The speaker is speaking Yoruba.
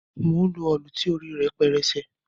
Mò ń lo òlù ti orí rẹ rí pẹrẹsẹ.